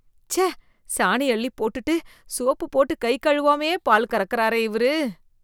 ச்சே, சாணி அள்ளிப்போட்டுட்டு சோப்பு போட்டு கை கழுவாமயே பால் கறக்கறாரே இவரு.